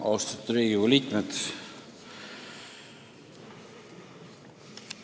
Austatud Riigikogu liikmed!